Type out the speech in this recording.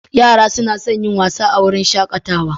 Yara suna son yin wasa a wurin shakatawa.